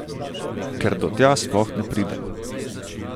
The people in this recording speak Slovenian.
Ker do tja sploh ne pridemo.